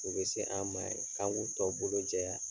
U be se an' ma ye k'an k'u tɔ bolo jɛya.